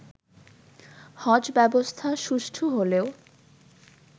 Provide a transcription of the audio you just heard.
হজ ব্যবস্থা সুষ্ঠু হলেও